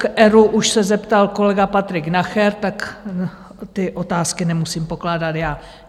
K ERÚ už se zeptal kolega Patrik Nacher, tak ty otázky nemusím pokládat já.